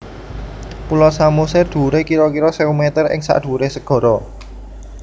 Pulo Samosir dhuwure kira kira sewu mèter ing sadhuwuré segara